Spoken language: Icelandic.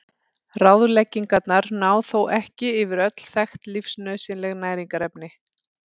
Ráðleggingarnar ná þó ekki yfir öll þekkt lífsnauðsynleg næringarefni.